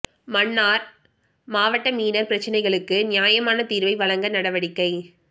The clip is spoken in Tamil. மன்னார் மாவட்ட மீனவர் பிரச்சினைகளுக்கு நியாயமான தீர்வை வழங்க நடவடிக்கை